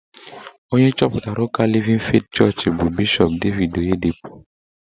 Onye chọpụtara ụka Livin Feeti Chọọchị bụ Bishọp Devid Oyedepo.